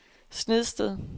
Snedsted